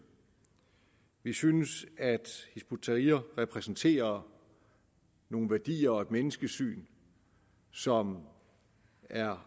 vi synes at hizb ut tahrir repræsenterer nogle værdier og et menneskesyn som er